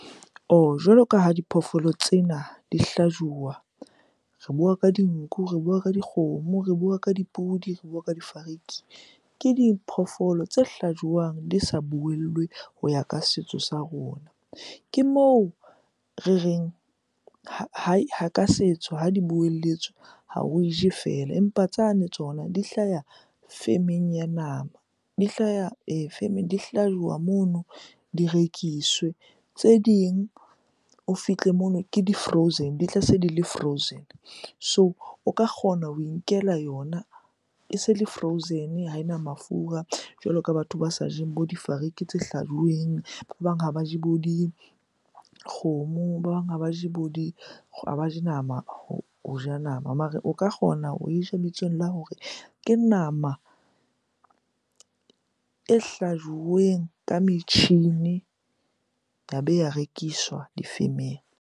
Jwalo ka ha diphoofolo tsena di hlajuwa. Re bua ka dinku, re bua ka dikgomo, re bua ka dipudi, re bua ka difariki. Ke diphoofolo tse hlajwang di sa buellwe ho ya ka setso sa rona. Ke moo re reng ka setso ha di buelletswe ha oe je fela, empa tsane tsona di hlaya femeng ya nama, di hlaya femeng, di hlajuwa mono di rekiswe. Tse ding o fihle mono ke di-frozen, di tla se di le frozen. So o ka kgona ho inkela yona ese le frozen, ha ena mafura. Jwalo ka batho ba sa jeng bo difariki tse hlajuweng. Ba bang ha ba je bo dikgomo, ba bang ha ba je bo di ha ba je nama, ho ja nama. Mare o ka kgona ho e ja bitsong la hore ke nama e hlajuweng ka metjhini ya be ya rekiswa difemeng.